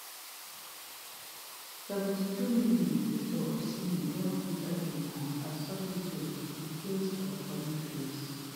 seventy-two mins victor osimhen don enta di match as substitute in place of boniface